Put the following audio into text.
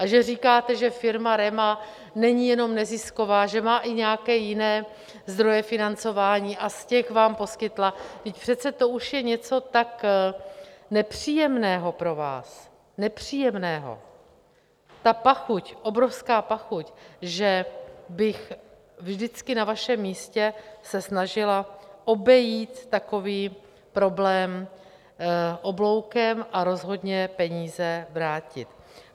A že říkáte, že firma REMA není jenom nezisková, že má i nějaké jiné zdroje financování a z těch vám poskytla, vždyť přece to už je něco tak nepříjemného pro vás, nepříjemného, ta pachuť, obrovská pachuť, že bych vždycky na vašem místě se snažila obejít takový problém obloukem a rozhodně peníze vrátit.